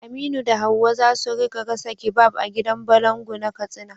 Aminu da Hawwa za su rika gasa kebab a gidan balangu na Katsina.